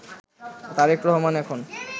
তারেক রহমান এখন